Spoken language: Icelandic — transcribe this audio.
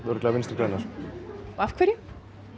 örugglega Vinstri græn afhverju